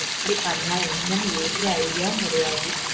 எப்பிடி பண்ண என்னண்ணு ஒரு idea வும் கிடையாது